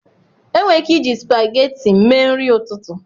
Enwere ike iji spageti mee nri ụtụtụ